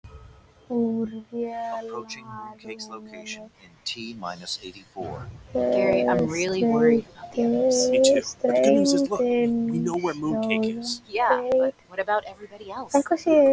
Úr vélarrúminu streymdi sjóðheitur mökkur.